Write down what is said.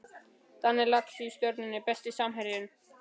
Danni Lax í Stjörnunni Besti samherjinn?